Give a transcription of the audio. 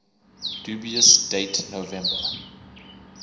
dubious date november